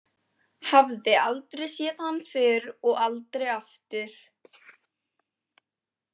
Hafði aldrei séð hann fyrr og aldrei aftur.